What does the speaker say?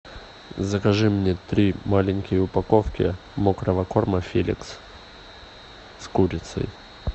закажи мне три маленькие упаковки мокрого корма феликс с курицей